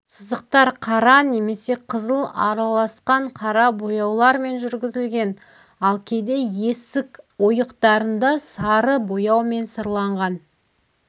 сызықтар қара немесе қызыл араласқан қара бояулармен жүргізілген ал кейде есік ойықтарында сары бояумен сырланған